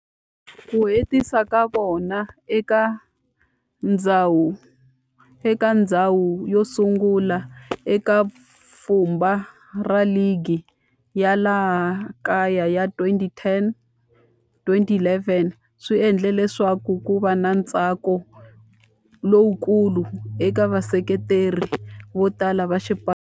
Ku hetisa ka vona eka ndzhawu yosungula eka pfhumba ra ligi ya laha kaya ya 2010-2011 swi endle leswaku kuva na ntsako lowukulu eka vaseketeri votala va xipano.